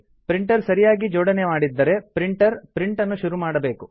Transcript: printer ಸರಿಯಾಗಿ ಜೋಡಣೆ ಮಾಡಿದ್ದರೆ ಪ್ರಿಂಟರ್ ಪ್ರಿಂಟನ್ನು ಶುರು ಮಾಡಬೇಕು